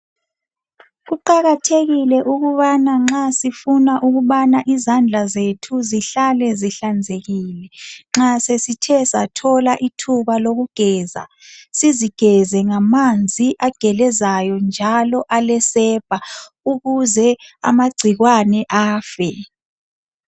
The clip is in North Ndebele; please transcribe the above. Kuqakathekile ukubana nxa sifuna ukubana izandla zethu zihlale zihlanzekile nxa sesithe sathola ithuba lokugeza, sizigeze ngamanzi agelezayo njalo alesepa ukuze amagcikwane afe.